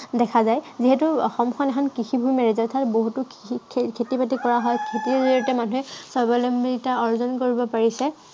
দেখা যায়। যিহেতু অসমখন এখন কৃষি প্ৰধান ৰাজ্য়। অৰ্থাত বহুতো খেতি-বাতি কৰা হয়। খেতিৰ জড়িয়তে মানুহে স্বাৱলম্বিতা অৰ্জন কৰিব পাৰিছে।